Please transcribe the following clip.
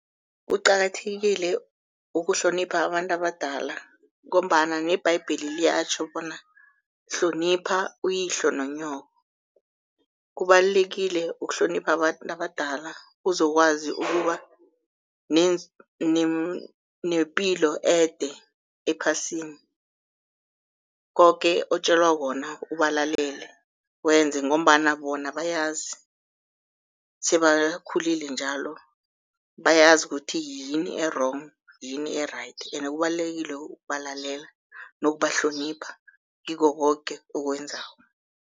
Kuqakathekile ukuhlonipha abantu abadala ngombana nebhayibheli liyatjho bona hlonipha uyihlo nonyoko. Kubalulekile ukuhlonipha abantu abadala uzokwazi ukuba nepilo ede ephasini. Koke otjelwa khona ubalalele wenze ngombana bona bayazi sebakhulile njalo, bayazi kuthi yini e-wrong yini e-right. Ene kubalulekile ukubalalela nokubahlonipha kikho koke okwenzako.